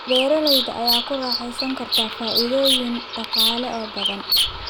Beeralayda ayaa ku raaxaysan kara faa'iidooyin dhaqaale oo badan.